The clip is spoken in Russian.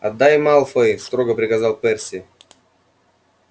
отдай малфой строго приказал перси